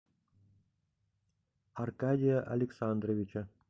аркадия александровича